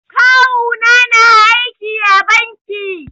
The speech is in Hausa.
Kawu na na aiki a banki